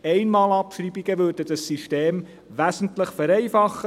Einmal-Abschreibungen würden das System wesentlich vereinfachen.